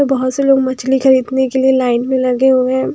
बहुत से लोग मछली खरीदने के लिए लाइन में लगे हुए हैं।